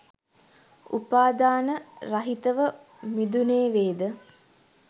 උපාදාන රහිතව මිදුනේවේද